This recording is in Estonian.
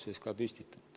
Jürgen Ligi, palun!